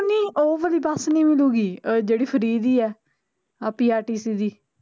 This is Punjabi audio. ਉਹ ਵਾਲੀ ਬੱਸ ਨਹੀਂ ਮਿਲੂਗੀ ਜਿਹੜੀ free ਦੀ ਐ, ਆਹ prtc ਦੀ